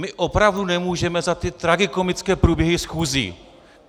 My opravdu nemůžeme za ty tragikomické průběhy schůzí.